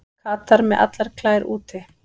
Katar með allar klær úti